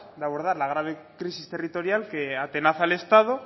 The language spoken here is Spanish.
de abordar la grave crisis territorial que atenaza al estado